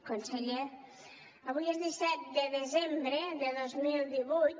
conseller avui és disset de desembre de dos mil divuit